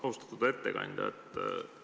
Austatud ettekandja!